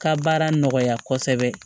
Ka baara nɔgɔya kosɛbɛ